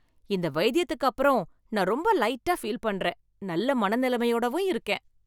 இந்த வைத்தியத்துக்கு அப்பறம் நான் ரொம்ப லைட்டா ஃபீல் பண்றேன் நல்ல மனநிலமையோடவும் இருக்கேன்.